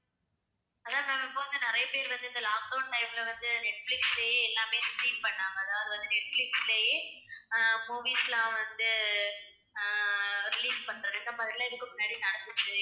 அதான் ma'am இப்போ வந்து நிறைய பேர் வந்து இந்த lockdown time ல வந்து நெட்பிலிஸ்லயே எல்லாமே stream பண்ணாங்க. அதாவது வந்து நெட்பிலிஸ்லயே அஹ் movies எல்லாம் வந்து அஹ் release பண்றது இந்த மாதிரியெல்லாம் இதுக்கு முன்னாடி நடந்துச்சு.